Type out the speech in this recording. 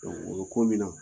o bɛ ko minna